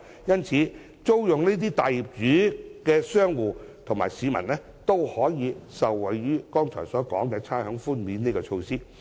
因此，租用大型業主物業的商戶和市民均可受惠於剛才提到的差餉寬免措施。